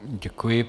Děkuji.